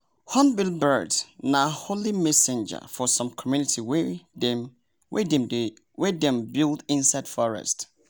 hornbill bird nah holy messenger for some community wey dem wey dem build inside forest